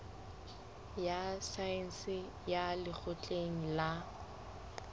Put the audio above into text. ya saense ya lekgotleng la